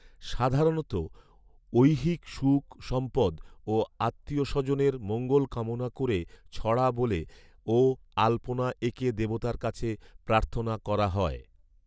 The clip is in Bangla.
সাধারণত ঐহিক সুখ সম্পদ ও আত্মীয় স্বজনের মঙ্গল কামনা ক'রে ছড়া বলে ও আলপনা এঁকে দেবতার কাছে প্রার্থনা করা হয়।